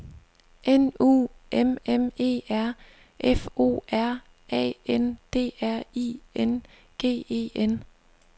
N U M M E R F O R A N D R I N G E N